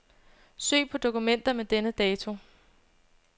Søg på dokumenter med denne dato.